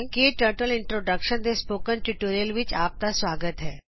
ਕੇ ਟਕਟਲ ਦੇ ਟਯੂਟੋਰਿਅਲ ਵਿਚ ਤੁਹਾਡਾ ਸਵਾਗਤ ਹੈ